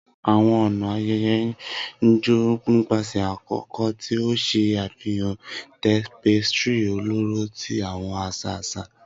Awọn ọna ayẹyẹ n jo nipasẹ akoko, ti o ṣe afihan tapestry ọlọrọ ti awọn aṣa aṣa.